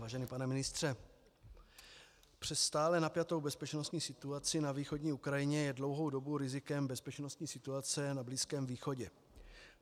Vážený pane ministře, přes stále napjatou bezpečnostní situaci na východní Ukrajině je dlouhou dobu rizikem bezpečnostní situace na Blízkém východě.